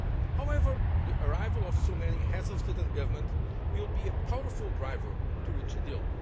However, the arrival of so many Heads of State or Government will be a powerful driver to reach a